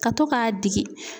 Ka to k'a digi.